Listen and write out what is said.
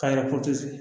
Ka yɔrɔ